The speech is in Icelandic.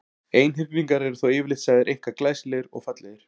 Einhyrningar eru þó yfirleitt sagðir einkar glæsilegir og fallegir.